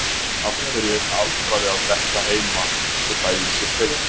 Af hverju er hinn aldraði að detta heima svo dæmi sé tekið?